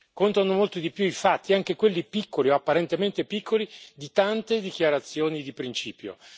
Contano molto di più i fatti, anche quelli piccoli o apparentemente piccoli, di tante dichiarazioni di principio.